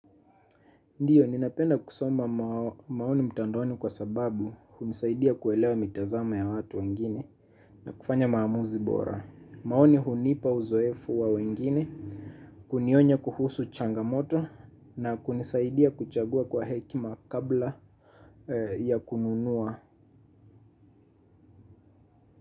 Ndiyo, ninapenda kusoma maoni mtandoni kwa sababu hunisaidia kuelewa mitazamo ya watu wengine na kufanya maamuzi bora. Maoni hunipa uzoefu wa wengine, kunionya kuhusu changamoto na kunisaidia kuchagua kwa hekima kabla ya kununua.